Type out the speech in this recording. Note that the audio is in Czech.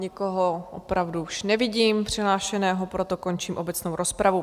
Nikoho opravdu už nevidím přihlášeného, proto končím obecnou rozpravu.